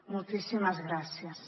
moltíssimes gràcies